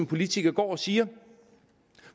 politikere går og siger